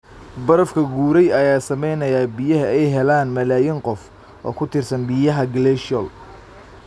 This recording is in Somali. Barafka guray ayaa saameynaya biyaha ay helaan malaayiin qof oo ku tiirsan biyaha glacial.